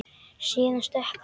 Síðan stökk hann.